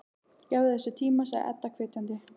Gefðu þessu tíma, sagði Edda hvetjandi.